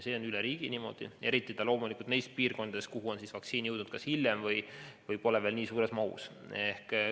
See on üle riigi niimoodi, eriti loomulikult neis piirkondades, kuhu on vaktsiin jõudnud hiljem või kuhu seda pole veel nii suures mahus jõudnud.